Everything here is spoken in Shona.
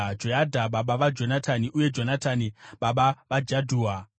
Joyadha baba vaJonatani, uye Jonatani baba vaJadhua.